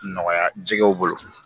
Nɔgɔya jɛgɛw bolo